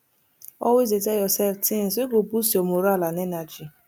always dey tel urself tins wey go boost yur moral and energy